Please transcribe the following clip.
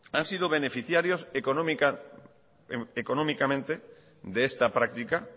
han sido beneficiarios económicamente de esta práctica